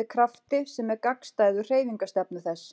með krafti sem er gagnstæður hreyfingarstefnu þess.